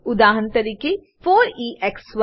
ઉદાહરણ તરીકે 4એક્સ1